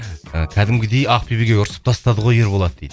ы кәдімгідей ақбибіге ұрсып тастады ғой ерболат дейді